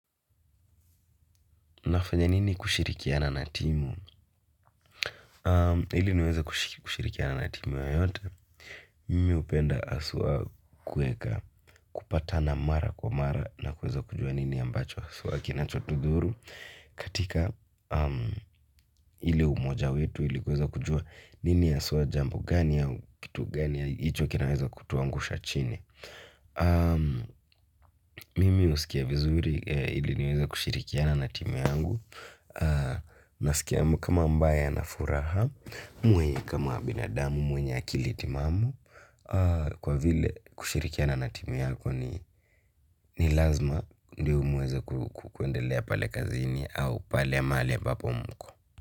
Nafanya nini kushirikiana na timu? Ili niweza kushirikiana na timu yoyote. Mimi upenda awa kueka kupata na mara kwa mara na kweza kujua nini ambacho sura kinachotuduru. Katika ile umoja wetu ili kweza kujua nini aswa jambo gania kitu gania ito kinaweza kutuangusha chini. Mimi usikia vizuri ili niweza kushirikiana na timu yangu. Na sikia kama mbaya na furaha mwenye kama binadamu mwenye akili timamu kwa vile kushirikia na natimu yako ni lazima ndio mweze kuwendelea pale kazini au pale maali ambapo mko.